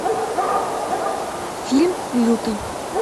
фильм лютый